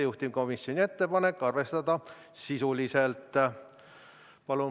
Juhtivkomisjoni ettepanek: arvestada sisuliselt.